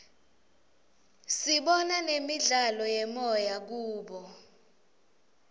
sibona nemidlalo yemoya kubo